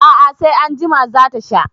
A'a, sai anjima za ta sha.